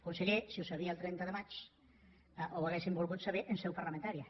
conseller si ho sabia el trenta de maig ho hauríem volgut saber en seu parlamentària